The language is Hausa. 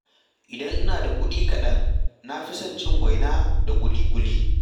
Idan ina da kuɗi kaɗan, na fi son cin waina da ƙuli-ƙuli.